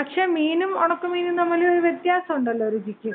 പക്ഷേ മീനും ഉണക്കമീനും തമ്മിലൊരു വ്യത്യാസൊണ്ടല്ലോ രുചിക്ക്?